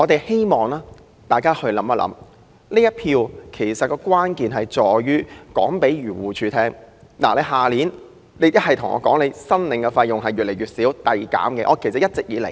希望大家想一想，這一票的關鍵在於告訴漁護署，明年要求就此批撥的款項要更少，必須一直遞減。